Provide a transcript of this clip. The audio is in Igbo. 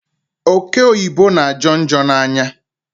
Oke oyibo na ajo njo n'anya m